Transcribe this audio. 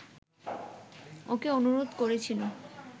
ওকে অনুরোধ করেছিল